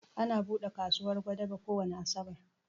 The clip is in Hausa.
Ana buɗe kasuwar Gwadabe kowani Asabar